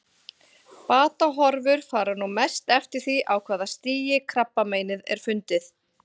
Batahorfur fara nú mest eftir því á hvaða stigi krabbameinið er fundið.